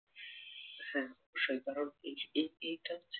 হ্যাঁ সেই কারন এই এই এইটা হচ্ছে